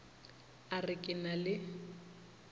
a re ke na le